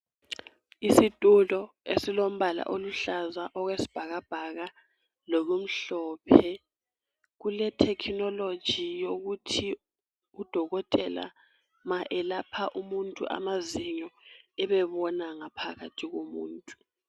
Isitulo esilombala oluhlaza okwesbhakabhaka lokumhlophe. Kulethekhinoloji yokuthi udokotela ma elapha umuntu amazinyo, ebebona ngaphakathi komuntu.